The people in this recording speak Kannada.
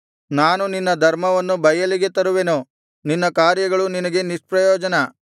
ನಾನು ನಿನ್ನ ಧರ್ಮವನ್ನು ಬಯಲಿಗೆ ತರುವೆನು ನಿನ್ನ ಕಾರ್ಯಗಳು ನಿನಗೆ ನಿಷ್ಪ್ರಯೋಜನ